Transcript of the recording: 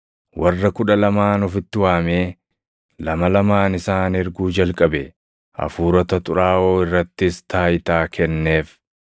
Warra Kudha Lamaan ofitti waamee lama lamaan isaan erguu jalqabe; hafuurota xuraaʼoo irrattis taayitaa kenneef.